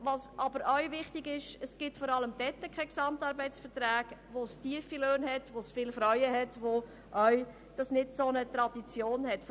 Wichtig ist, dass es vor allem dort keine GAV gibt, wo tiefe Löhne bezahlt und vorwiegend Frauen beschäftigt werden und wo solche Verträge keine Tradition haben.